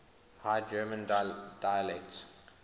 high german dialects